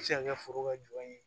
Se ka kɛ foro ka jɔn ye